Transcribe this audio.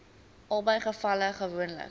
albei gevalle gewoonlik